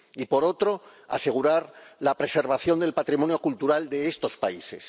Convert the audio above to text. y por otro, asegurar la preservación del patrimonio cultural de estos países.